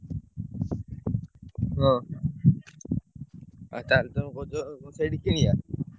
ହଁ ଆଉ ତାହେଲେ ତମେ କହୁଛ ସେଇଠୁ କିଣିଆ?